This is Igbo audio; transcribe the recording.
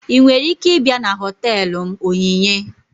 Ị nwere ike ịbịa na họtelu m Onyinye?